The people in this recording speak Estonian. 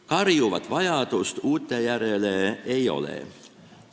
Karjuvat vajadust uute järele ei ole.